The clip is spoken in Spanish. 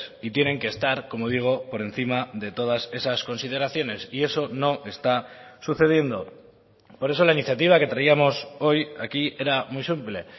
y tienen que estar como digo por encima de todas esas consideraciones y eso no está sucediendo por eso la iniciativa que traíamos hoy aquí era muy simple